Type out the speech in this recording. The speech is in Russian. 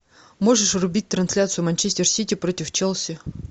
можешь врубить трансляцию манчестер сити против челси